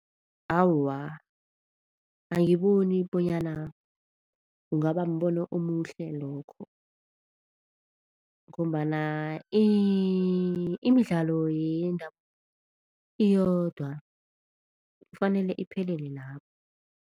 Awa, angiboni bonyana kungaba mbono omuhle lokho ngombana imidlalo yendabuko iyodwa kufanele iphelele lapho.